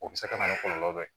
O bɛ se ka na ni kɔlɔlɔ dɔ ye